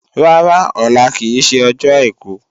Rárá, ọlá kì í ṣe ọjọ́ àìkú